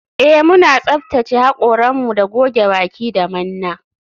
Eh muna tsaftace hakoranmu da goge baki da manna